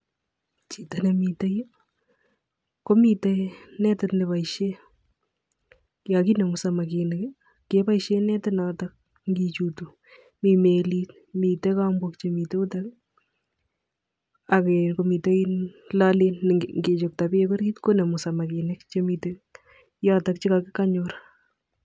Chito nemite yu, komiten netit neboisien. Yon kinemu samakinik, keboisien netit noton ngichutu. Mi melit, miten kambok chemiten yutok ak komiten loleet ne ngichokto beek orit, konemu samakinik chemiten yotok chekonyor.